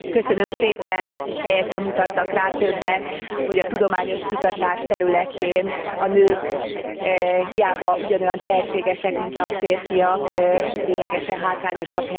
Helyesen mutattak rá többen, hogy a tudományos kutatás területén a nők hiába ugyanolyan tehetségesek mint a férfiak, lényegesen hátrányosabb helyzetben vannak.